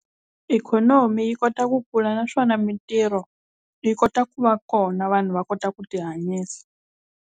Ikhonomi yi kota ku kula naswona mintirho yi kota ku va kona vanhu va kota ku tihanyisa.